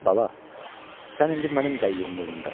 Bala, sən indi mənim qəyyumluğumdasan.